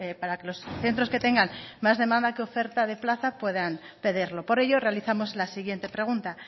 para que los centros que tengan más demanda que oferta de plaza puedan pedirlo por ello realizamos la siguiente pregunta